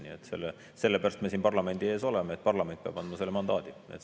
Nii et selle pärast me siin parlamendi ees oleme, et parlament peab andma selle mandaadi.